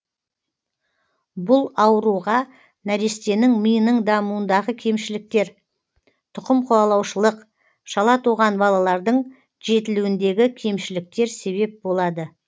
бұл ауруға нәрестенің миының дамуындағы кемшіліктер тұқым қуалаушылық шала туған балалардың жетілуіндегі кемшіліктер себеп болады